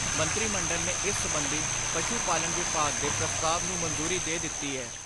ਮੰਤਰੀ ਮੰਡਲ ਨੇ ਇਸ ਸਬੰਧੀ ਪਸ਼ੂ ਪਾਲਣ ਵਿਭਾਗ ਦੇ ਪ੍ਰਸਤਾਵ ਨੂੰ ਮਨਜ਼ੂਰੀ ਦੇ ਦਿੱਤੀ ਏ।